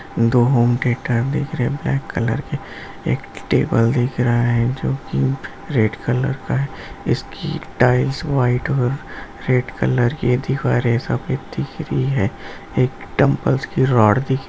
दो home theatre दिख रहे ब्लैक कलर के एक टेबल दिख रहा है जो कि रेड कलर का है इसकी टाइल्स व्हाइट और रेड कलर की है दिवारे सफेद दिख रही है एक डंबल्स की रॉड दि --